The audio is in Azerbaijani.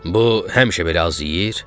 "Bu həmişə belə az yeyir?"